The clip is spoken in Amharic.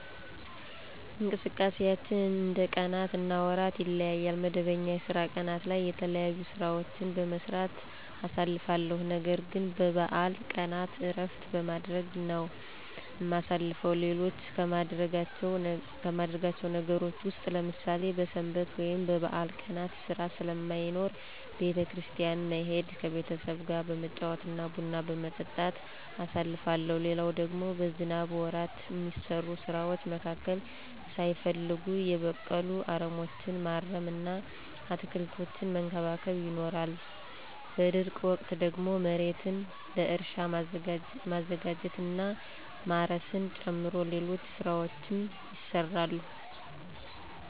እንቅስቃሴያችን እንደ ቀናት እና ወራት ይለያያል። መደበኛ የስራ ቀናት ላይ የተለያዩ ሥራዎችን በመስራት አሳልፋለሁ። ነገርግን በበዓል ቀናት እረፍት በማድረግ ነው እማሳልፈው። ሌሎች ከማደርጋቸው ነገሮች ውስጥ ለምሳሌ በሰንበት ወይም በበዓል ቀናት ሥራ ስለማይኖር ቤተ- ክርስቲያን መሄድ፤ ከቤተሰብጋ በመጫወት እና ቡና በመጠጣት አሳልፋለሁ። ሌላው ደግሞ በዝናብ ወራት እሚሰሩ ስራዎች መካከል ሳይፈለጉ የበቀሉ አረሞችን ማረም እና አትክልቶችን መንከባከብ ይኖራል። በደረቅ ወቅት ደግሞ መሬትን ለእርሻ ማዘጋጀት እና ማረስን ጨምሮ ሌሎች ሥራዎችም ይሰራሉ።